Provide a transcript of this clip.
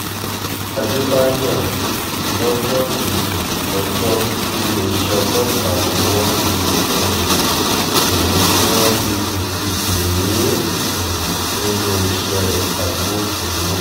àdébáyò lọ́jọ́ kejì ọjọ́ tiléeṣẹ́ ọlọ́pàá buwọ́ lu um ìwé tí wọ́n fi fòfin dè é um nínú iṣẹ́ agbófinró